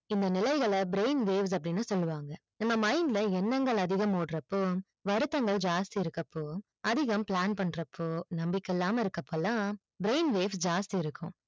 இந்த நிலைகள brain waves அப்டின்னு சொல்லுவாங்க நம்ம mind ல எண்ணங்கள் அதிகம் ஓடுற அப்போ வருத்தங்கள் ஜாஸ்தி இருக்கப்போ அதிகம் plan பண்றப்போ நம்பிக்கை இல்லமா இருக்கப்போ எல்லாம் brain waves ஜாஸ்தி இருக்கும்